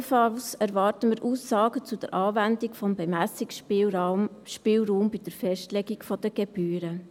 Ebenfalls erwarten wir Aussagen zur Anwendung des Bemessungsspielraums bei der Festlegung der Gebühren.